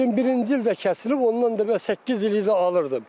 21-ci ildə kəsilib, ondan da 8 il də alırdım.